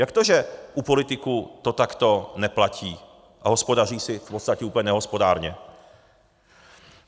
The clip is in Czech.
Jak to, že u politiků to takto neplatí a hospodaří si v podstatě úplně nehospodárně?